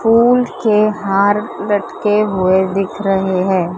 फूल के हार लटके हुए दिख रहे है।